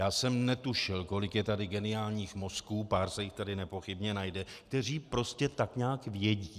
Já jsem netušil, kolik je tady geniálních mozků, pár se jich tady nepochybně najde, kteří prostě tak nějak vědí.